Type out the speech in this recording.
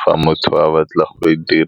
fa motho a batla go e .